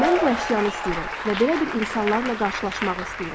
Mən bu əşyanı istəyirəm və belə bir insanlarla qarşılaşmağı istəyirəm.